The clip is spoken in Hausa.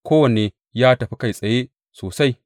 Kowanne ya tafi kai tsaye sosai.